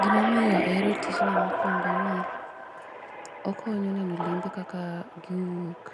Gima omiyo ahero tijni mokuongo ni okonyo neno limbe kaka giwuok